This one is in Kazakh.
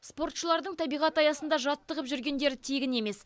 спортшылардың табиғат аясында жаттығып жүргендері тегін емес